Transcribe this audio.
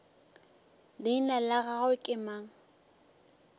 leina la gagwe ke mang